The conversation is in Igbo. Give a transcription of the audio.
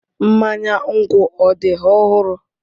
Mmanya nkwu ọ dị ọhụrụ?